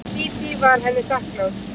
Dídí var henni þakklát.